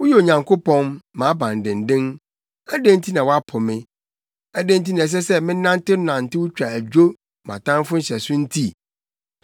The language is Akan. Woyɛ Onyankopɔn, mʼabandennen. Adɛn nti na woapo me? Adɛn nti na ɛsɛ sɛ menantenantew twa adwo mʼatamfo nhyɛso nti?